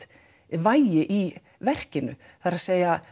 vægi í verkinu það er